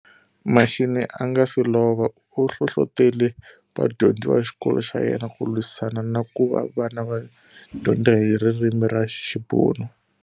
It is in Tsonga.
Mashinini a ga se lova, uhlohlotele vadyondzi vaxikolo xa yena ku lwisana na kuva vana va dyondza hi ririmi ra xibunu.